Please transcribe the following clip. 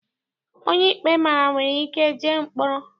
Onye ikpe mara nwere ike jee mkpọrọ.